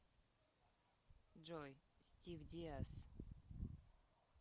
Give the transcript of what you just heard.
джой стив диас